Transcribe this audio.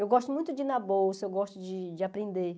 Eu gosto muito de ir na bolsa, eu gosto de de aprender.